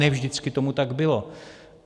Ne vždycky tomu tak bylo.